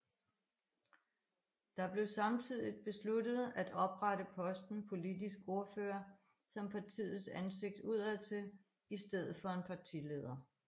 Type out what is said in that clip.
Der blev samtidigt besluttet at oprette posten politisk ordfører som partiets ansigt udadtil i stedet for en partileder